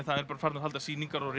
það er bara að halda sýningar og